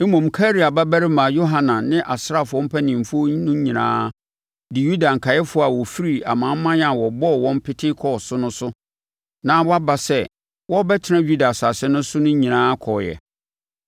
Mmom Karea babarima Yohanan ne asraafoɔ mpanimfoɔ nyinaa de Yuda nkaeɛfoɔ a wɔfifirii amanaman a wɔbɔɔ wɔn pete kɔɔ so no so na wɔaba sɛ wɔrebɛtena Yuda asase so no nyinaa kɔɔeɛ.